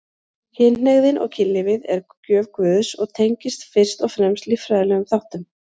Kynhneigðin og kynlífið er gjöf Guðs og tengist fyrst og fremst líffræðilegum þáttum.